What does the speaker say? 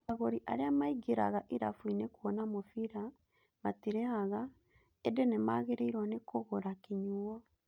Agũri arĩa maingĩraga irabuinĩ kuona mũbira matirĩhaga, ĩndĩ nĩmagĩrĩirwo ni kũgũra kĩnyuo.